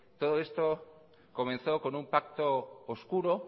todo esto comenzó con un pacto oscuro